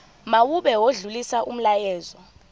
mawube odlulisa umyalezo